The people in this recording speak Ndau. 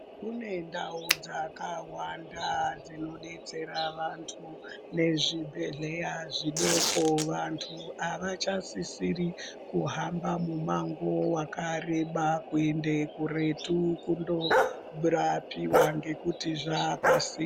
Kune ndau dzakawanda dzino detsera vantu ne zvibhedhleya zvidoko vantu avacha sisiri kuhamba mu mango wakareba kuende kuretu kundo rapiwa ngekuti zvapasinde.